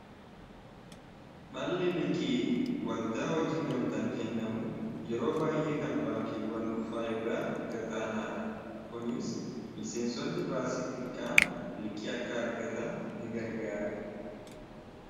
dhalli liqqii waldaa hojii gamtaan kennamu yeroo baay'ee kan baankiiwwan dhuunfaa irra gadaanaa dha kuniis miseensotni baasii xiqqaan liqqii akka argatan ni gargaare